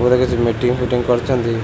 ବୋଧେ meeting fitting କରୁଚନ୍ତି।